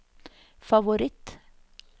favoritt